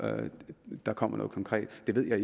der kommer noget konkret det ved jeg